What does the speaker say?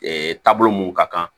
taabolo mun ka kan